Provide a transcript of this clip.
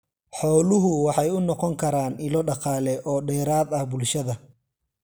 Xooluhu waxay u noqon karaan ilo dhaqaale oo dheeraad ah bulshada.